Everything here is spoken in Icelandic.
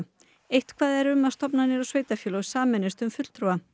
eitthvað er um að stofnanir og sveitarfélög sameinist um fulltrúa